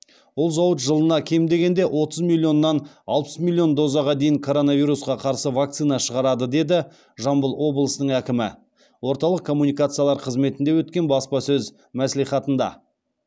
ол зауыт жылына кем дегенде отыз миллионнан алпыс миллион дозаға дейін коронавирусқа қарсы вакцина шығарады деді жамбыл обылысының әкімі орталық коммуникациялар қызметінде өткен баспасөз мәслихатында